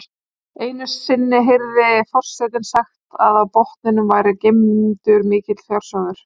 Einu sinni heyrði forsetinn sagt að á botninum væri geymdur mikill fjársjóður.